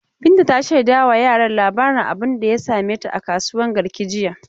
Binta ta shaida wa yaran labarin abunda ya same ta a kasuwan Garki jiya.